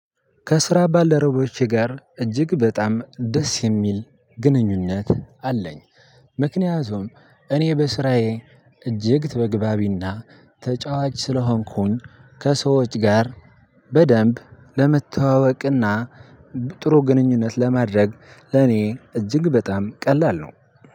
ከስራ ባለረቦቼ ጋር እጅግ በጣም ደስ የሚል ግንኙነት አለኝ። ምክንያቱም እኔ በስራዬ እጅግ ተግባቢና ተጫዋች ስለሆንኩኝ ከሰዎች ጋር በደንብ ለመተዋወቅና ጥሩ ግንኙነት ለማድረግ ለኔ እጅግ በጣም ቀላል ነው።